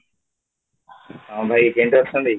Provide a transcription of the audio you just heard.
ହଁ, ଭାଇ କେମିତି ଅଛନ୍ତି?